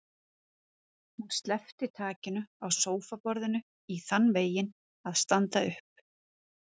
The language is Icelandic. Hún sleppti takinu á sófaborðinu í þann veginn að standa upp.